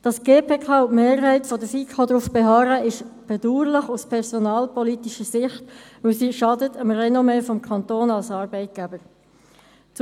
Dass die GPK und die Mehrheit der FiKo darauf beharren, ist aus personalpolitischer Sicht bedauerlich, weil dies dem Renommee des Kantons als Arbeitgeber schadet.